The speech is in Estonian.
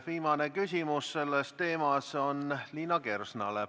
Viimane küsimus sellel teemal on Liina Kersnal.